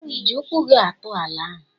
Ịji ụkwụ gị atụ ala ahụ?